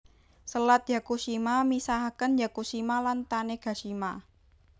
Selat Yakushima misahaken Yakushima lan Tanegashima